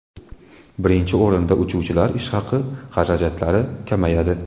Birinchi o‘rinda uchuvchilar ish haqi xarajatlari kamayadi.